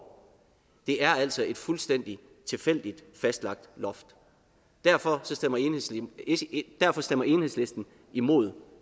det er altså et fuldstændig tilfældigt fastlagt loft derfor stemmer enhedslisten imod